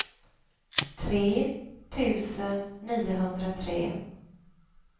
tre tusen niohundratre